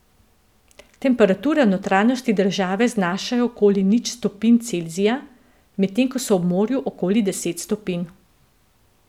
Temperature v notranjosti države znašajo okoli nič stopinj Celzija, medtem ko so ob morju okoli deset stopinj.